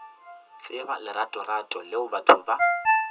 tseba leratorato leo batho ba